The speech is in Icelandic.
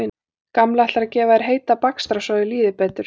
Gamli ætlar að gefa þér heita bakstra svo þér líði betur